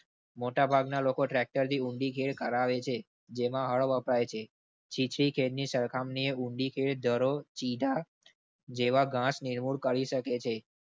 મોટાભાગના લોકો tractor થી ઊંડી કરાવે છે. જેમાં અડ વપરાય છે ચીચી ખેડ ની સરખામણી ઊંડી ખેડ . જેવા નિર્કમાણ કરી સકે છે.